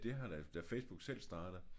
Det har da Facebook selv startet